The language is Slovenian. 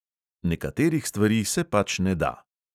Nekaterih stvari se pač ne da.